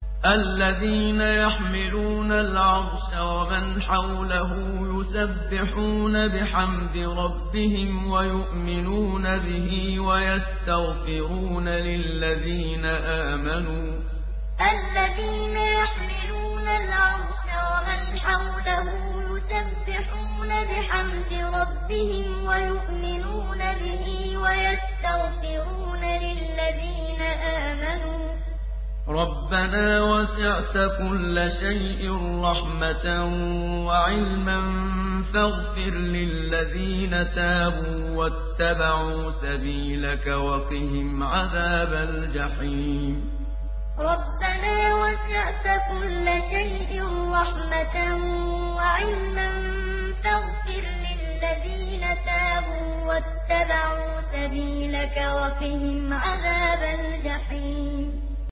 الَّذِينَ يَحْمِلُونَ الْعَرْشَ وَمَنْ حَوْلَهُ يُسَبِّحُونَ بِحَمْدِ رَبِّهِمْ وَيُؤْمِنُونَ بِهِ وَيَسْتَغْفِرُونَ لِلَّذِينَ آمَنُوا رَبَّنَا وَسِعْتَ كُلَّ شَيْءٍ رَّحْمَةً وَعِلْمًا فَاغْفِرْ لِلَّذِينَ تَابُوا وَاتَّبَعُوا سَبِيلَكَ وَقِهِمْ عَذَابَ الْجَحِيمِ الَّذِينَ يَحْمِلُونَ الْعَرْشَ وَمَنْ حَوْلَهُ يُسَبِّحُونَ بِحَمْدِ رَبِّهِمْ وَيُؤْمِنُونَ بِهِ وَيَسْتَغْفِرُونَ لِلَّذِينَ آمَنُوا رَبَّنَا وَسِعْتَ كُلَّ شَيْءٍ رَّحْمَةً وَعِلْمًا فَاغْفِرْ لِلَّذِينَ تَابُوا وَاتَّبَعُوا سَبِيلَكَ وَقِهِمْ عَذَابَ الْجَحِيمِ